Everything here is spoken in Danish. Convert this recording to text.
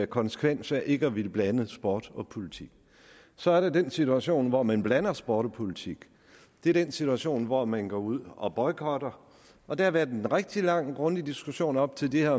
konsekvensen af ikke at ville blande sport og politik så er der den situation hvor man blander sport og politik det er den situation hvor man går ud og boykotter og der har været en rigtig lang og grundig diskussion op til det her